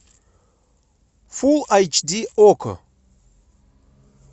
фул айч ди окко